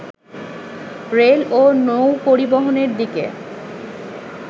rail ও নৌ-পরিবহনের দিকে